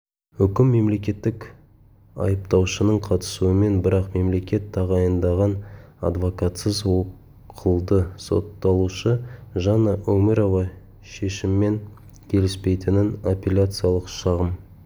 үкім мемлекеттік айыптаушының қатысуымен бірақ мемлекет тағайындаған адвокатсыз оқылды сотталушы жанна өмірова шешіммен келіспейтінін апелляциялық шағым